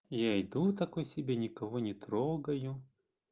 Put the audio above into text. я иду такой себе никого не трогаю